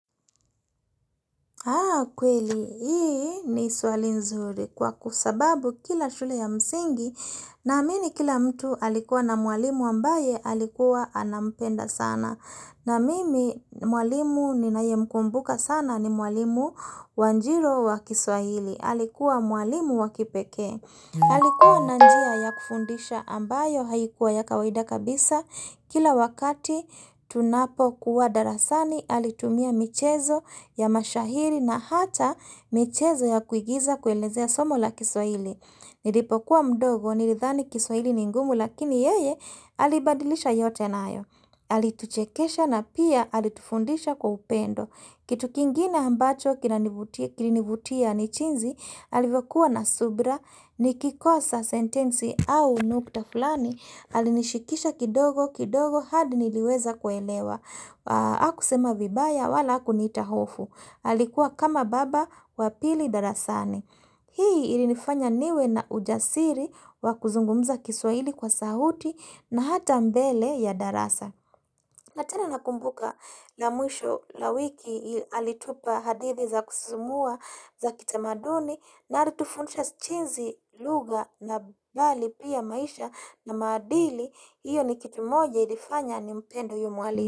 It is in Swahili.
Haa kweli hii ni swali nzuri kwa kusababu kila shule ya msingi na amini kila mtu alikuwa na mwalimu ambaye alikuwa anampenda sana na mimi mwalimu ninayemkumbuka sana ni mwalimu wanjiru wa kiswahili alikuwa mwalimu wa kipekee. Alikuwa na njia ya kufundisha ambayo haikuwa ya kawaida kabisa kila wakati tunapo kuwa darasani alitumia michezo ya mashahiri na hata michezo ya kuigiza kuelezea somo la kiswaili. Nilipokuwa mdogo, nilithani kiswaili ningumu lakini yeye alibadilisha yote naayo. Alituchekesha na pia alitufundisha kwa upendo. Kitu kingine ambacho kinanivutia kilinivutia ni jinsi, alivokuwa na subra, nikikosa sentensi au nuktafulani, alinishikisha kidogo kidogo hadi niliweza kuelewa. Akusema vibaya wala akuniita hofu. Alikuwa kama baba wapili darasani. Hii ili nifanya niwe na ujasiri wa kuzungumza kiswaili kwa sauti na hata mbele ya darasa. Natena nakumbuka na mwisho la wiki ili alitupa hadithi za kusisimua za kitamaduni na alitufundisha jinsi lugha na bali pia maisha na madili. Iyo ni kitumoja ilifanya ni mpende huyo mwalimu.